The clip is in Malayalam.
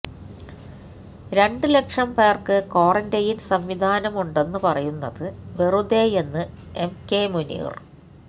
രണ്ടു ലക്ഷം പേർക്ക് ക്വാറൻ്റൈന് സംവിധാനമുണ്ടെന്ന് പറയുന്നത് വെറുതെയെന്ന് എം കെ മുനീർ